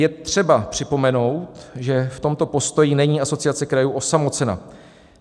Je třeba připomenout, že v tomto postoji není Asociace krajů osamocena.